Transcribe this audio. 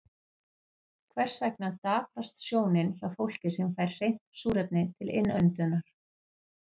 Hvers vegna daprast sjónin hjá fólki sem fær hreint súrefni til innöndunar?